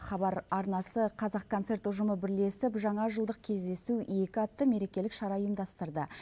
хабар арнасы қазақконцерт ұжымы бірлесіп жаңажылдық кездесу екі атты мерекелік шара ұйымдастырды